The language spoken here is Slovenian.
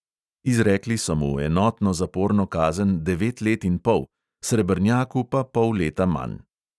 Izrekli so mu enotno zaporno kazen devet let in pol, srebrnjaku pa pol leta manj.